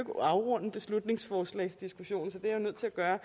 afrunde beslutningsforslagsdiskussionen er jeg nødt til at gøre